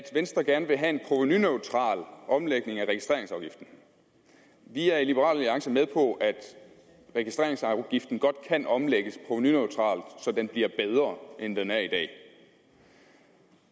venstre gerne vil have en provenuneutral omlægning af registreringsafgiften vi er i liberal alliance med på at registreringsafgiften godt kan omlægges provenuneutralt så den bliver bedre end den er i dag